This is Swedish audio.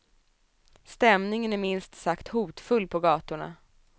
Stämningen är minst sagt hotfull på gatorna.